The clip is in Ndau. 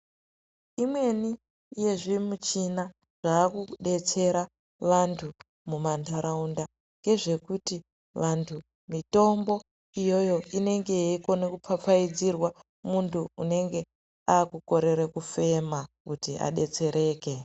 Imweni yezvimichina yaakudetsera vanthu mamantharaunda. Ngezvekuti vanthu mitombo iyoyo inenge yeikona kupfapfaidzirwa munthu unenge aakukorere kufema kuti adetsereke.